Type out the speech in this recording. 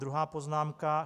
Druhá poznámka.